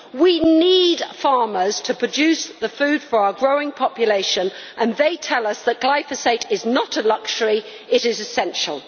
We need farmers to produce the food for our growing population and they tell us that glyphosate is not a luxury, it is essential.